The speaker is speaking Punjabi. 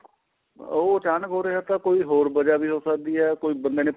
ਉਹ ਅਚਾਨਕ ਹੋ ਰਿਹਾ ਤਾਂ ਕੋਈ ਹੋਰ ਵਜਾ ਵੀ ਹੋ ਸਕਦੀ ਕੋਈ ਬੰਦੇ ਨੇ